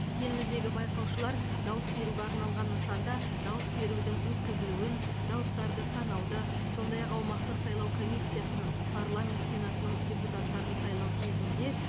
еліміздегі байқаушылар дауыс беруге арналған нысанда дауыс берудің өткізілуін дауыстарды санауды сондай ақ аумақтық сайлау комиссиясының парламент сенатының депутаттарын сайлау кезінде